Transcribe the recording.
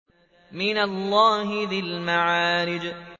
مِّنَ اللَّهِ ذِي الْمَعَارِجِ